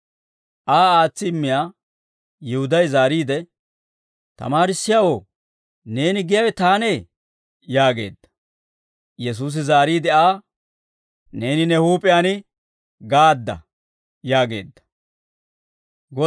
Aa aatsi immiyaa Yihuday zaariide, «Tamaarissiyaawoo, neeni giyaawe taanee?» yaageedda. Yesuusi zaariide Aa, «Neeni ne huup'iyaan gaadda» yaageedda.